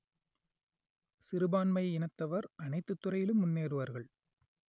சிறுபான்மை இனத்தவர் அனைத்துத் துறையிலும் முன்னேறுவார்கள்